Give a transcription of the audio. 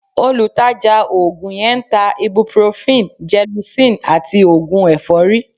Olùtajà oògùn yẹn ń ta ibuprofen, gelocin àti oògùn ẹ̀fọ́rí